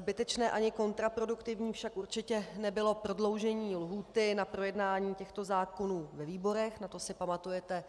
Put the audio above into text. Zbytečné ani kontraproduktivní však určitě nebylo prodloužení lhůty na projednání těchto zákonů ve výborech, na to si pamatujete